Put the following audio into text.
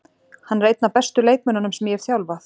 Hann er einn af bestu leikmönnunum sem ég hef þjálfað.